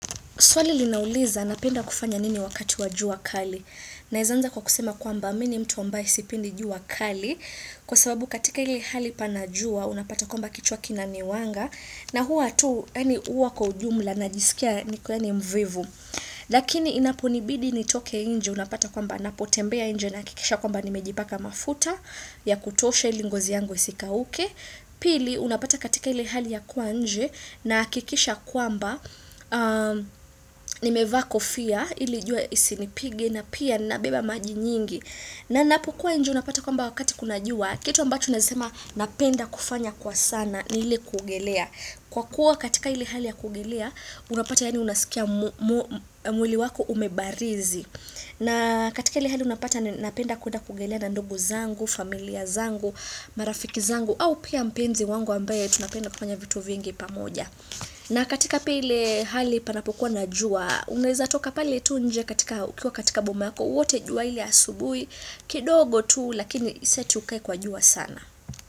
Swali linauliza napenda kufanya nini wakati wa jua kali? Naeza anza kwa kusema kwamba mi ni mtu ambaye sipendi jua kali. Kwa sababu katika ile hali pana jua, unapata kwamba kichua kinaniwanga. Na huwa tu, yaani huwa kwa ujumla, najisikia niko yaani mvivu. Lakini inaponibidi nitoke nje, unapata kwamba napotembea nje, nahakikisha kwamba nimejipaka mafuta, ya kutosha ili ngozi yangu isikauke. Pili, unapata katika ile hali ya kuwa nje, nahakikisha kwamba, nimevaa kofia ili jua isinipige na pia nabeba maji nyingi na napokuwa nje unapata kwamba wakati kuna jua kitu ambacho naeza sema napenda kufanya kwa sana ni ile kuogelea kwa kuwa katika ile hali ya kuogelea unapata yaani unasikia mwili wako umebarizi na katika ile hali unapata napenda kuenda kuogelea na ndugu zangu, familia zangu, marafiki zangu au pia mpenzi wangu ambaye tunapenda kufanya vitu vingi pamoja na katika pia ile hali panapokuwa na jua, unaeza toka pale tu nje katika ukiwa katika boma yako, uote jua ile asubuhi, kidogo tu lakini si eti ukae kwa jua sana.